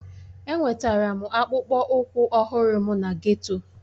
Enwetara m akpụkpọ ụkwụ ọhụrụ m na geto